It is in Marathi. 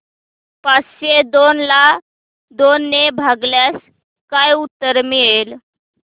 पाचशे दोन ला दोन ने भागल्यास काय उत्तर मिळेल